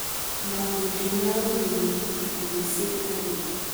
Makundi ma ũrĩmi, ikundi cia arĩmi,